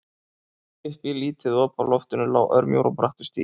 Upp í lítið op á loftinu lá örmjór og brattur stigi.